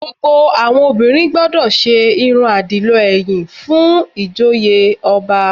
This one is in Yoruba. Gbogbo àwọn obìnrin gbọdọ̀ ṣe irun àdìlọ ẹ̀yìn fún ìjoyè ọba